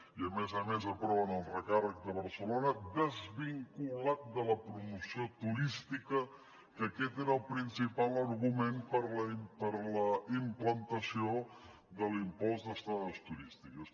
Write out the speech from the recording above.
i a més a més aproven el recàrrec de barcelona desvinculat de la promoció turística que aquest era el principal argument per la implantació de l’impost d’estades turístiques